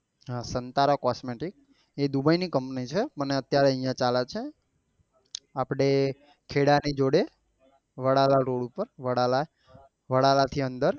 હા સંતારા cosmetic એ dubai ની company છે પણ એ અત્યારે અહિયાં ચાલે છે આપડે ખેડા ની જોડે વડાલા રોડપર વડાલા વડલા થી અંદર